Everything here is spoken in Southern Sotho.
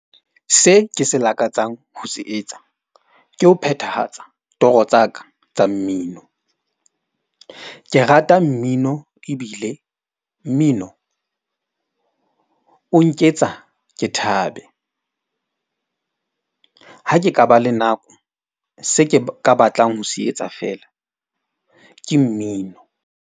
Se ke se lakatsang ho se etsa ke ho phethahatsa toro tsa ka tsa mmino. Ke rata mmino ebile mmino o nketsa ke thabe. Ha ke ka ba le nako se ke ka batlang ho se etsa fela ke mmino.